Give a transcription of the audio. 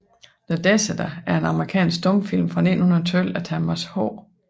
The Deserter er en amerikansk stumfilm fra 1912 af Thomas H